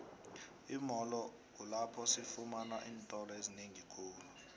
imolo kulpapho sifamana iintolo ezinengikhulu